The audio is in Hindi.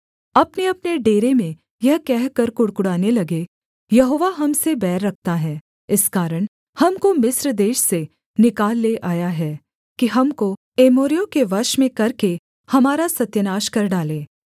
अपनेअपने डेरे में यह कहकर कुढ़कुढ़ाने लगे यहोवा हम से बैर रखता है इस कारण हमको मिस्र देश से निकाल ले आया है कि हमको एमोरियों के वश में करके हमारा सत्यानाश कर डाले